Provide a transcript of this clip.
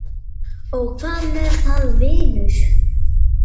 Bíó Emil, Bíó Emil